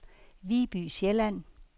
Viby Sjælland